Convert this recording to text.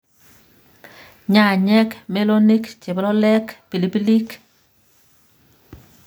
nyanyek, melonik, chebololek, pilipilik